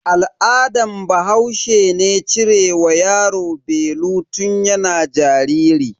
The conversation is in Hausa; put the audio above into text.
Al'adan bahaushe ne cire wa yaro belu tun yana jariri.